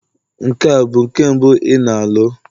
Nke a bụ nke mbụ ị na-alụ?